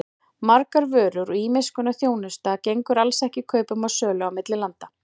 Margar vörur og ýmiss konar þjónusta gengur alls ekki kaupum og sölu milli landa.